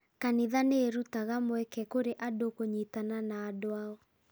Kanitha nĩ irutaga mweke kũrĩ andũ kũnyitana na andũ ao.